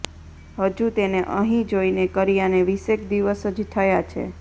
હજુ તેને અહીં જોઈને કર્યાને વીસેક દિવસ જ થયા છે